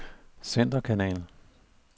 centerkanal